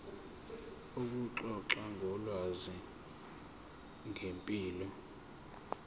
ukuxoxa ngolwazi ngempilo